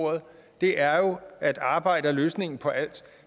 det ord er jo at arbejde er løsningen på alt